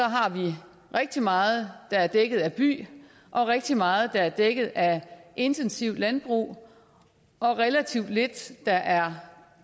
har vi rigtig meget der er dækket af by og rigtig meget der er dækket af intensivt landbrug og relativt lidt der er